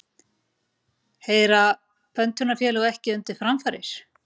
Heyra pöntunarfélög ekki undir framfarir?